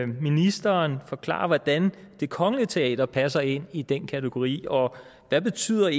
ministeren forklare hvordan det kongelige teater passer ind i den kategori og hvad betyder